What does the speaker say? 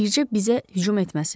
Bircə bizə hücum etməsinlər.